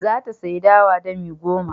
Za ta sayi dawa dami goma.